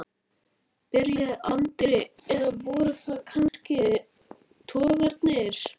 byrjaði Andri, eða voru það kannski togararnir?